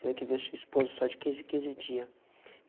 Tenho que ver sua esposa só de quinze, quinze dia.